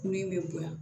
Kun in bɛ bonya